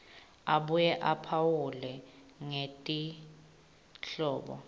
abuye aphawule ngetinhlobo